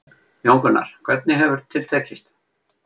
Jón Gunnar, hvernig hefur til tekist?